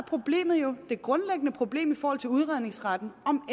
det grundlæggende problem i forhold til udredningsretten om